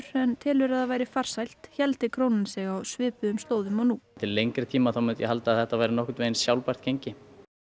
en telur að það væri farsælt héldi hún sig á svipuðum slóðum og nú til lengri tíma myndi ég halda að þetta væri nokkurn veginn sjálfbært gengi